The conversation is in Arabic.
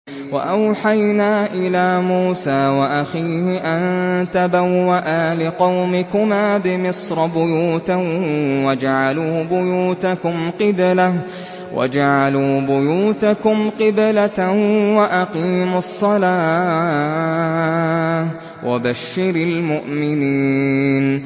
وَأَوْحَيْنَا إِلَىٰ مُوسَىٰ وَأَخِيهِ أَن تَبَوَّآ لِقَوْمِكُمَا بِمِصْرَ بُيُوتًا وَاجْعَلُوا بُيُوتَكُمْ قِبْلَةً وَأَقِيمُوا الصَّلَاةَ ۗ وَبَشِّرِ الْمُؤْمِنِينَ